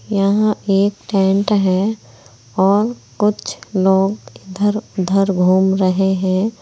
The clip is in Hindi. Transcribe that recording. यहां एक टेंट है और कुछ लोग इधर उधर घूम रहे हैं।